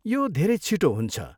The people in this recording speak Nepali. यो धेरै छिटो हुन्छ।